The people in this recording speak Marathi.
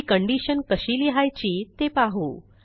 ही कंडिशन कशी लिहायची ते पाहू